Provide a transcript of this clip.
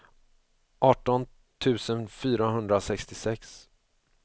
arton tusen fyrahundrasextiosex